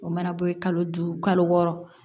O mana bɔ ye kalo duuru kalo wɔɔrɔ